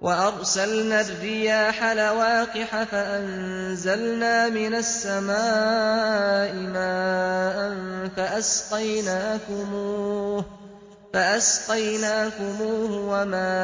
وَأَرْسَلْنَا الرِّيَاحَ لَوَاقِحَ فَأَنزَلْنَا مِنَ السَّمَاءِ مَاءً فَأَسْقَيْنَاكُمُوهُ وَمَا